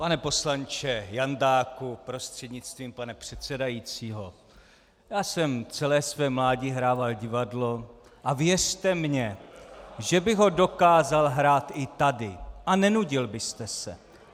Pane poslanče Jandáku prostřednictvím pana předsedajícího, já jsem celé své mládí hrával divadlo a věřte mi, že bych ho dokázal hrát i tady a nenudil byste se.